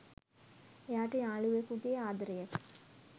එයාට යාලුවෙකුගේ ආදරයක